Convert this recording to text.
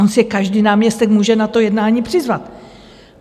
On si každý náměstek může na to jednání přizvat.